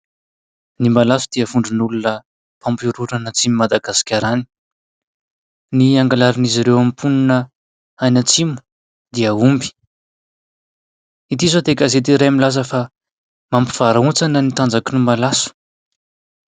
Ny malaso dia vondron'olona mampihorohoro an'Atsimon'i Madagasikara any, ny angalarin'izy ireo amin'ny mponina any Atsimo dia omby, ity izao dia gazety iray milaza fa mampivarahontsana ny tanjaky ny malaso.